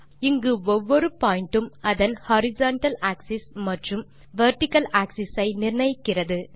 இங்கு ஒவ்வொரு பாயிண்ட் உம் அதன் ஹாரிசன்டல் ஆக்ஸிஸ் மற்றும் தே வெர்டிக்கல் ஆக்ஸிஸ் ஐ நிர்ணயிக்கிறது